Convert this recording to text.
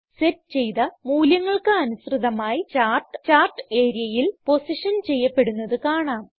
set ചെയ്ത മൂല്യങ്ങൾക്ക് അനുസൃതമായി ചാർട്ട് ചാർട്ട് areaയിൽ പൊസിഷൻ ചെയ്യപ്പെടുന്നത് കാണാം